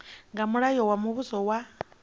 nga mulayo wa muvhuso wa